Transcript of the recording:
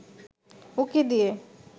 উঁকি দিয়ে